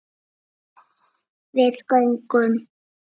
Við göngum